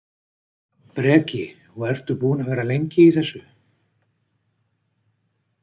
Breki: Og ertu búinn að vera lengi í þessu?